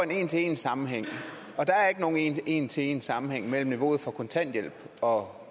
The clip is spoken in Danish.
en til en sammenhæng og der er ikke nogen en en til en sammenhæng mellem niveauet for kontanthjælp og